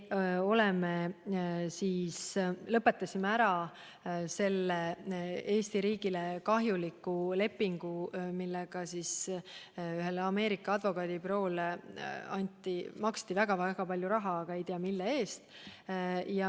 Me lõpetasime ära selle Eesti riigile kahjuliku lepingu, millega ühele Ameerika advokaadibüroole maksti väga-väga palju raha, aga ei tea, mille eest.